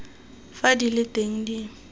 fa di le teng di